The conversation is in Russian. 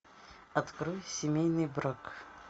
открой семейный брак